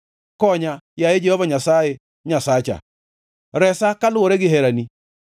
Konya, yaye Jehova Nyasaye Nyasacha, resa kaluwore gi herani.